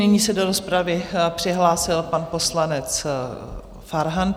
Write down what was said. Nyní se do rozpravy přihlásil pan poslanec Farhan.